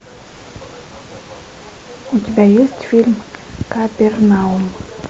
у тебя есть фильм капернаум